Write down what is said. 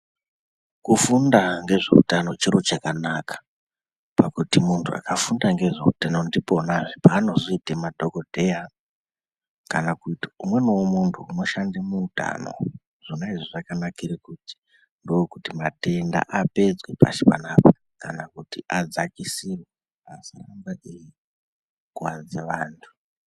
Kufunda ngezveutano chiro chakanaka pakuti muntu akafunda ngezveutano ndiponazve paanozoite madhokodheya kana kuti umweniwo muntu unoshande muutano zvona izvo zvakabakire kuti ndokuti matenda apedzwe pasi panapa kana kuti adzakisirwe asarambe eikuwadze antu.